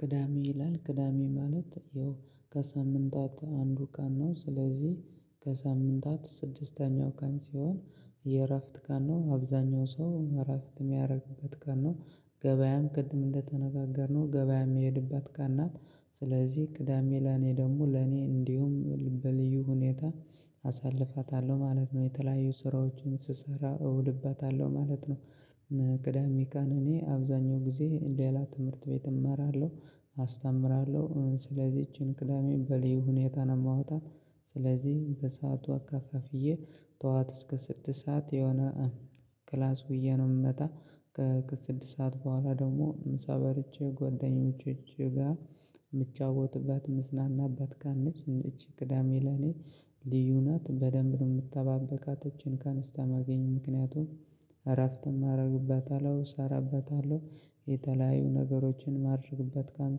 ቅዳሜ ይላል፥ ቅዳሜ ማለት ያው ከሳምንታት አንዱ ቀን ነው። ስለዚህ ከሳምንታት ስድስተኛው ቀን ሲሆን የእረፍት ቀን ነው። አብዛኛው ሰው እረፍት የሚያደርግበት ቀን ነው። ገበያም ቅድም እንደተነጋገርነው ገበያ የምሄድበት ቀን ናት። ስለዚህ ቅዳሜ ለኔ ደግሞ ለኔ እንዲሁ በልዩ ሁኔታ አሳልፋታለሁ ማለት ነው። የተለያዩ ስራዎችን ስሰራ እውልባታለሁ ማለት ነው። ቅዳሜ ቀን እኔ አብዛኛው ጊዜ ሌላ ትምህርት ቤት እማራለሁ፥ አስተምራለሁ። ስለዚህ እቺን ቅዳሜ በልዩ ሁኔታ ነው የማወጣት ስለዚህ በሰአቱ አከፋፍዬ ጠዋት እስከ ስድስት ሰዓት የሆነ ክላስ ውዬ ነው ምመጣ ከስድስት ሰዓት በኋላ ደግሞ ምሳ በልቼ ጓደኞቼ ጋ ምጫወትባት ምዝናናባት ቀን ነች። ይህች ቅዳሜ ለኔ ልዩ ናት፥ በደንብ ነው ምጠባበቃት እቺን ቀን እስከማገኝ። ምክንያቱም እረፍትም አደርግባታለሁ፣ እሰራባታለሁ፣ የተለያዩ ነገሮችን ማደርግባት ቀን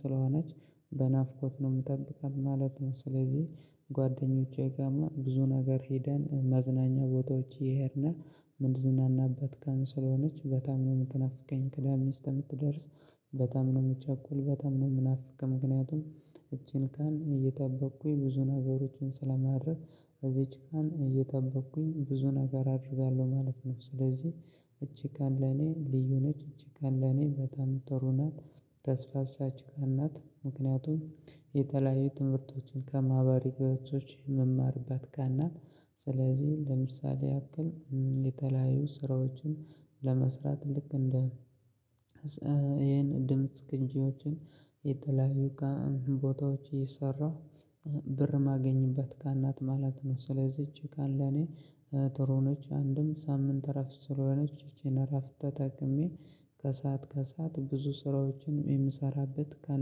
ስለሆነች በናፍቆት ነው ምጠብቃት ማለት ነው። ስለዚህ ጓደኞቼ ጋርም ብዙ ነገር ሄደን መዝናኛ ቦታዎች እየሄድን ምንዝናናበት ቀን ስለሆነች በጣም ነው የምትናፍቀኝ። ቅዳሜ እስከምትደርስ፥ በጣም ነው የምቸኩል በጣም ነው የምናፍቅ። ምክንያቱም እቺን ቀን እየጠበቅኩኝ ብዙ ነገሮችን ስለማደርግ እዚች ቀን እየጠበቅኩኝ ብዙ ነገር አደርጋለሁ ማለት ነው። ስለዚህ እቺ ቀን ለኔ ልዩ ነች፥ እቺ ቀን ለኔ በጣም ጥሩ ናት፥ ተስፋ ሰጪ ቀን ናት። ምክንያቱም የተለያዩ ትምህርቶችን ከማህበራዊ ገጾች የምማርባት ቀን ናት። ስለዚህ እንደምሳሌ ያክል የተለያዩ ስራዎችን ለመስራት፥ ልክ እንደ ይሄን ድምጽ ቅጂዎችን የተለያዩ ቦታዎች እየሰራሁ ብር ማገኝባት ቀን ናት ማለት ነው። ስለዚ ይህች ቀን ለኔ ጥሩ ነች። አንድም ሳምንት እረፍት ስለሆነች፥ ይቺን እረፍት ተጠቅሜ ከሰአት፣ ከሰአት ብዙ ስራዎችንም የምሰራበት ቀን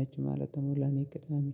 ነች ማለት ነው ለኔ ቅዳሜ።